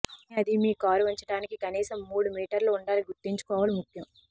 కానీ అది మీ కారు ఉంచటానికి కనీసం మూడు మీటర్ల ఉండాలి గుర్తుంచుకోవాలి ముఖ్యం